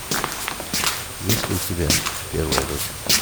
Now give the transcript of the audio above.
есть ли у тебя первая дочь